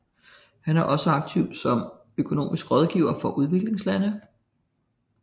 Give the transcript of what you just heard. Han var også aktiv som økonomisk rådgiver for udviklingslande